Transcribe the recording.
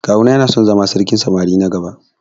Kawu na yana son zama sarkin samari na gaba.